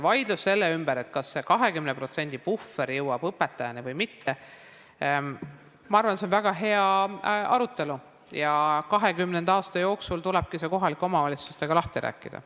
Vaidlus selle ümber, kas see 20% puhver jõuab õpetajani või mitte, ma arvan, on väga hea arutelu ja 2020. aasta jooksul tulebki see kohalike omavalitsustega lahti rääkida.